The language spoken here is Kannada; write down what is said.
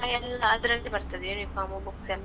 ಎಲ್ಲ ಅದ್ರಲ್ಲೇ ಬರ್ತದೆ, uniform, books ಎಲ್ಲ.